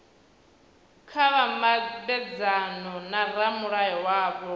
kha vha mabedzane na ramulayo wavho